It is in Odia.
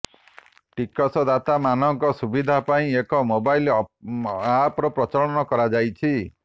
ଟିକସଦାତାମାନଙ୍କ ସୁବିଧା ପାଇଁ ଏକ ମୋବାଇଲ ଆପର ପ୍ରଚଳନ କରାଯାଇଛି